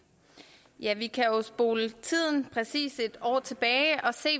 ja vi kan jo spole tiden præcis en år tilbage og se